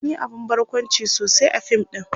sun Yi abun barkwanci sosai a fim ɗin